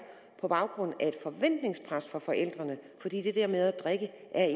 på grund af et forventningspres fra forældrene fordi det der med at drikke